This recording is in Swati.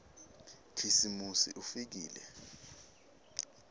khisimusi ufikile